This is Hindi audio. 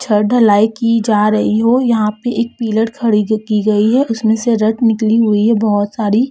छत ढलाई की जार रही हो यहाँ पे एक पीलर खड़ी की गयी है उसमें से रड निकली हुई है बहुत साड़ी।